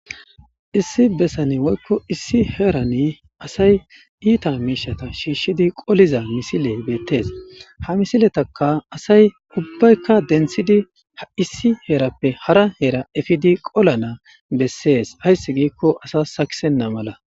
Issi bessani woykko issi heerani asay iita miishata shiishshidi qoliza misile beettes ha misiletaka asay ubbaykka denthidi a issi heerappe hara heera efidi qola naa bessees hayssi giikko asa sakisenna mala